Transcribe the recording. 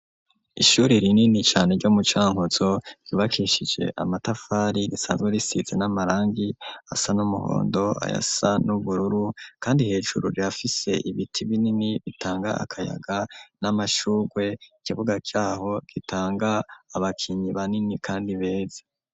Ishuri rinini cane ryo mu Cankutzo ryubakishije amatafari risanzwe risize n'amarangi asa n'umuhondo ayasa n'ubururu kandi hejuru rirafise ibiti binini bitanga akayaga n'amashurwe ikibuga caho gitanga abakinyi banini kandi beza.